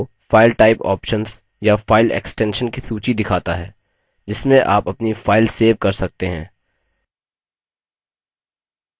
यह आपको file type options या file extensions की सूची दिखाता है जिसमें आप अपनी file सेव कर सकते हैं